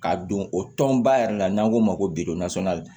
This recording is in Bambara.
K'a don o tɔn ba yɛrɛ la n'an k'o ma ko